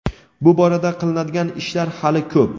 bu borada qilinadigan ishlar hali ko‘p.